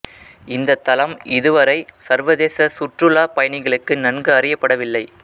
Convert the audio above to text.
இந்த தளம் இதுவரை சர்வதேச சுற்றுலா பயணிகளுக்கு நன்கு அறியப்படவில்லை